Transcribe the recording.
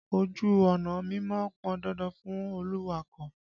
Ojú ọ̀nà mímọ̀ pọn dandan fún olùwakọ̀.